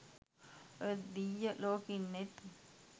ඔය දිය්ය ලෝකෙ ඉන්නෙත්